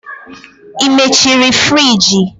Ị mechiri friji?